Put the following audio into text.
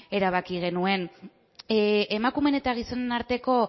erabaki genuen emakumeen eta gizonen arteko